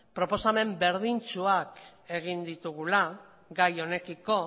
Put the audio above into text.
proposamen berdintsuak egin ditugula gai honekiko